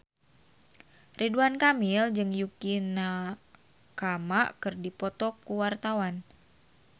Ridwan Kamil jeung Yukie Nakama keur dipoto ku wartawan